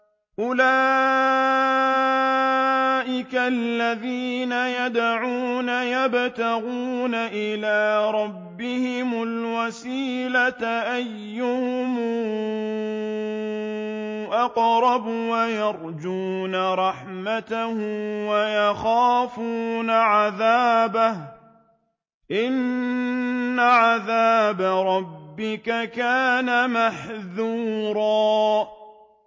أُولَٰئِكَ الَّذِينَ يَدْعُونَ يَبْتَغُونَ إِلَىٰ رَبِّهِمُ الْوَسِيلَةَ أَيُّهُمْ أَقْرَبُ وَيَرْجُونَ رَحْمَتَهُ وَيَخَافُونَ عَذَابَهُ ۚ إِنَّ عَذَابَ رَبِّكَ كَانَ مَحْذُورًا